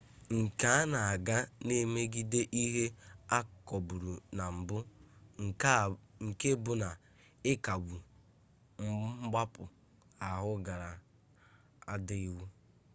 nke a na-aga na mmegide ihe akọbụrụ na mbụ nke bụ na ịkagbu mgbapụ ahụ gara ịda iwu